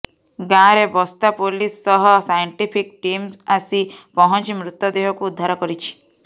ଗାଁ ରେ ବସ୍ତା ପୋଲିସ ସହ ସାଇନଟିଫିକ ଟିମ ଆସି ପହଁଚି ମୃତଦେହ କୁ ଉଦ୍ଧାର କରିଛି